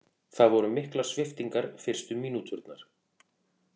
Það voru miklar sviptingar fyrstu mínúturnar